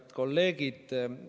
Head kolleegid!